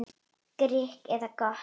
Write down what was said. Grikk eða gott?